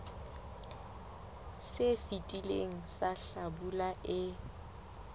se fetileng sa hlabula e